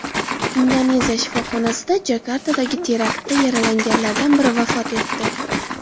Indoneziya shifoxonasida Jakartadagi teraktda yaralanganlardan biri vafot etdi.